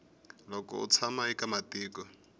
loko u tshama eka matiko